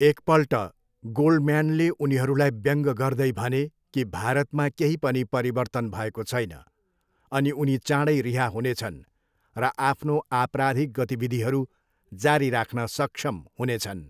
एकपल्ट, गोल्डम्यानले उनीहरूलाई व्यङ्ग्य गर्दै भने कि भारतमा केही पनि परिवर्तन भएको छैन अनि उनी चाँडै रिहा हुनेछन् र आफ्नो आपराधिक गतिविधिहरू जारी राख्न सक्षम हुनेछन्।